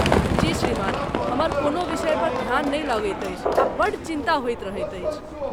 जी श्रीमान, हमर कोनो विषयपर ध्यान नहि लगैत अछि आ बड्ड चिन्ता होइत रहैत अछि।